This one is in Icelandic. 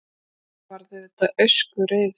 Ég verð auðvitað öskureið.